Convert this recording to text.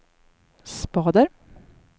spader